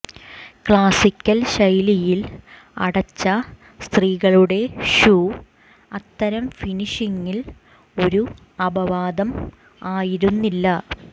classical ശൈലിയിൽ അടച്ച സ്ത്രീകളുടെ ഷൂ അത്തരം ഫിനിഷിംഗിൽ ഒരു അപവാദം ആയിരുന്നില്ല